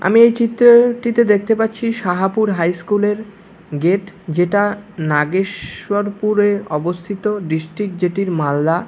আমি এই চিত্র-ওটিতে দেখতে পাচ্ছি সাহাপুর হাই স্কুল -এর গেট যেটা নাগে-শ্বরপুরে অবস্থিত ডিস্ট্রিক্ট যেটির মালদা